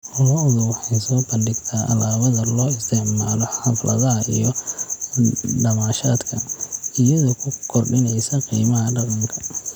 Lo'du waxay soo bandhigtaa alaabada loo isticmaalo xafladaha iyo damaashaadka, iyadoo ku kordhinaysa qiimaha dhaqanka.